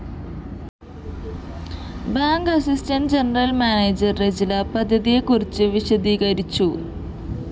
bank assistant general manager Rejila പദ്ധതിയെക്കുറിച്ച് വിശദീകരിച്ചു